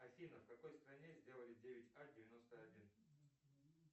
афина в какой стране сделали девять а девяносто один